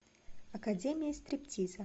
академия стриптиза